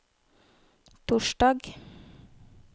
torsdag